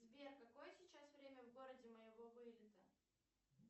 сбер какое сейчас время в городе моего вылета